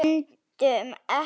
Öndum ekki.